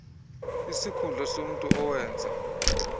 isikhundla somntu owenza